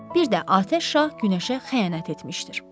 Bir də atəş şah günəşə xəyanət etmişdir.